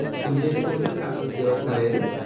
तुमच्या इथे कोणतं जागृत देवस्थान आहे रे?